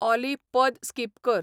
ऑली पद स्किप कर